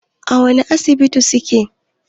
A wani Asibitin suke?